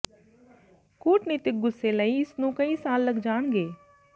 ਕੂਟਨੀਤਕ ਗੁੱਸੇ ਲਈ ਇਸ ਨੂੰ ਕਈ ਸਾਲ ਲੱਗ ਜਾਣਗੇ